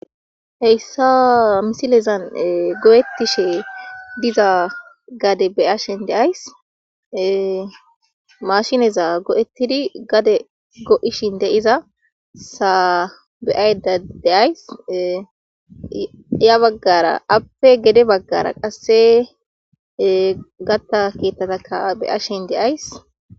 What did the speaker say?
Hayssaa misilezan go'ettishe diza gade beyashen deays mashineza go'ettidi gade go'ishin deiza saa beayda deays ya baggara appe gede baggara qasse gatta keettatakka beyashen deays.